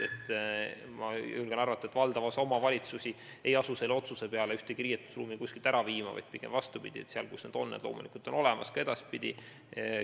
Ja ma julgen arvata, et valdav osa omavalitsusi ei asu selle otsuse peale ühtegi riietuskabiini kuskilt ära viima – seal, kus need on, on need loomulikult olemas ka edaspidi.